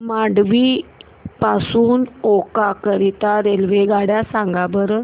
मांडवी पासून ओखा करीता रेल्वेगाड्या सांगा बरं